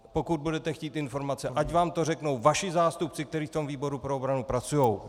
Pokud budete chtít informace, ať vám to řeknou vaši zástupci, kteří v tom výboru pro obranu pracují.